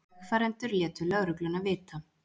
Vegfarendur létu lögregluna vita